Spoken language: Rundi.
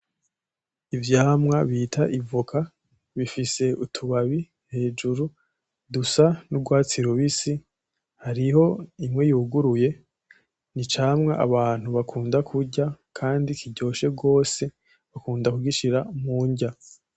Ivyamwa bita ivoka bifise utubabi hejuru dusa n'urwatsi rubisi, hariho imwe yuguruye. Ni icamwa abantu bakunda kurya kandi kiryoshe gose. Bakunda kugishira mudya.